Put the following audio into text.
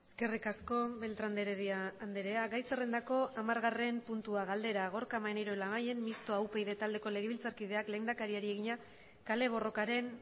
eskerrik asko beltrán de heredia andrea gai zerrendako hamargarren puntua galdera gorka maneiro labayen mistoa upyd taldeko legebiltzarkideak lehendakariari egina kale borrokaren